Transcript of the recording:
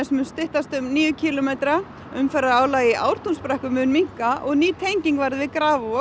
mun styttast um níu kílómetra umferðarálag í Ártúnsbrekku mun minnka og ný tenging verður við Grafarvog